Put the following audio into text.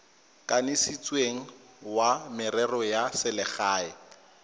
kanisitsweng wa merero ya selegae